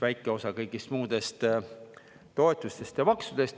väike osa kõigist muudest toetustest ja maksudest.